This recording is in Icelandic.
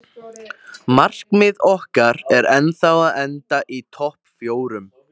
Markmið okkar er ennþá að enda í topp fjórum.